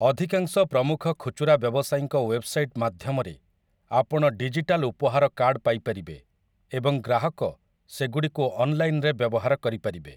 ଅଧିକାଂଶ ପ୍ରମୁଖ ଖୁଚୁରା ବ୍ୟବସାୟୀଙ୍କ ୱେବସାଇଟ୍ ମାଧ୍ୟମରେ ଆପଣ ଡିଜିଟାଲ୍ ଉପହାର କାର୍ଡ଼ ପାଇପାରିବେ, ଏବଂ ଗ୍ରାହକ ସେଗୁଡ଼ିକୁ ଅନ୍‌ଲାଇନ୍‌‌ରେ ବ୍ୟବହାର କରିପାରିବେ ।